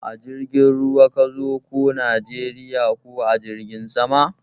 A jirgin ruwa ka zo ko Najeriya ko a jirgin sama?